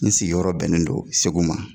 N sigiyɔrɔ bɛnnen do Segu ma.